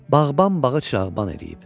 bağban bağı çırağban eləyib.